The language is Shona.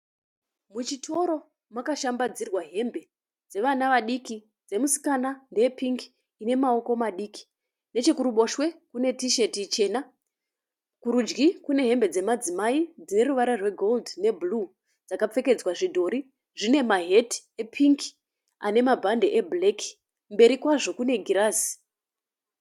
Muchitoro makashambadzirwa hembe. Dzevana vadiki, dzemusikana, ndeye pingi ine maoko madiki. Nechokuruboshwe kune tisheti ichena. Kurudyi kune hembe dzemadzimai dzine ruvara rwegoridhe nebhuruu dzakapfekedzwa zvidhori. Zvine maheti epingi ane mabhandi ebhureki. Mberi kwazvo kune girazi.